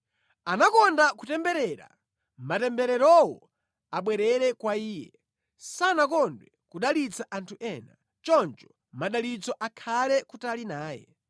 Anakonda kutemberera, matembererowo abwerere kwa iye; sanakondwe nʼkudalitsa anthu ena, choncho madalitso akhale kutali naye.